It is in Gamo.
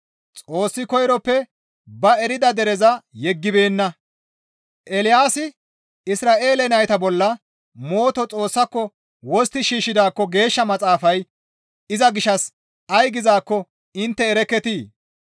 Xoossi koyroppe ba erida dereza yeggibeenna; Eelaasi Isra7eele nayta bolla mooto Xoossaako wostti shiishshidaakko Geeshsha Maxaafay iza gishshas ay gizaakko intte erekketii?